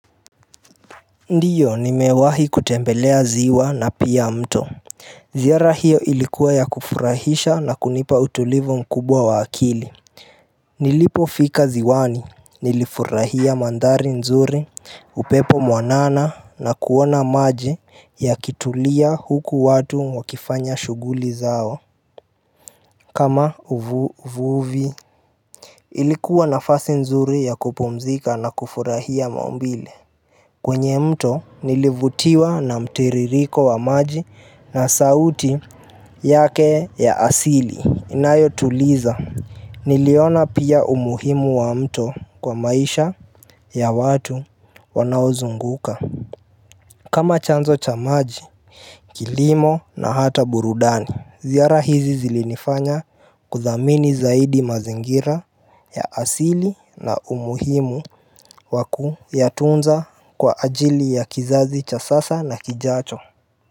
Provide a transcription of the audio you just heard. Ndio nimewahi kutembelea ziwa na pia mto ziara hiyo ilikuwa ya kufurahisha na kunipa utulivu mkubwa wa akili nilipofika ziwani nilifurahia mandhari nzuri upepo mwanana na kuona maji yakitulia huku watu wakifanya shuguli zao kama uvuvi ilikuwa nafasi nzuri ya kupumzika na kufurahia maumbile kwenye mto nilivutiwa na mtiririko wa maji na sauti yake ya asili inayotuliza Niliona pia umuhimu wa mto kwa maisha ya watu wanaozunguka kama chanzo cha maji, kilimo na hata burudani Ziara hizi zilinifanya kudhamini zaidi mazingira ya asili na umuhimu wa kuyatunza kwa ajili ya kizazi cha sasa na kijacho.